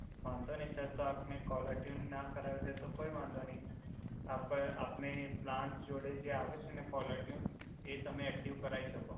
વાંધો નઈ સર તો આપને કોલર ટ્યુન ન કરાવવી હોય તો કોઇ વાંધો નઈ આપ આપની પ્લાંસ જોડે જે આવે છે ને કોલર ટ્યુન એ તમે એકટીવ કરાઇ શકો.